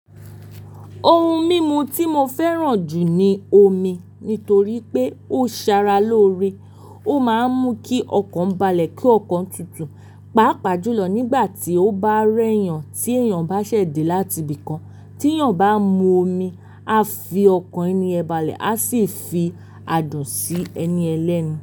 Ohun mímu tí mo fẹ́ràn jù ni omi, nítorí pé ó Sara loore. Ó máa ń mú kí ọkàn balẹ̀ kí ọkàn tutù. Paapaa julọ nígbà tí ó bá rẹ́ yàn tí èèyàn bá ṣẹ̀ de láti ibìkan tí èèyàn bá mu omi, a fi ọkàn ẹni yen balẹ̀ a sì fi adùn sí ẹniyen lẹ́nu.